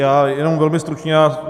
Já jenom velmi stručně.